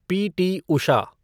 PT. Usha